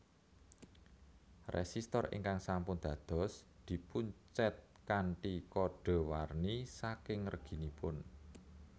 Résistor ingkang sampun dados dipuncèt kanthi kodhé warni saking reginipun